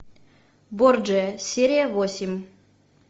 борджиа серия восемь